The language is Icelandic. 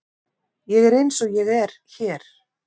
Ég er eins og ég er hér.